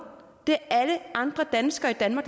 det er alle andre danskere i danmark